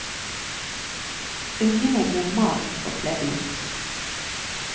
Ungene blir malt og kledd ut.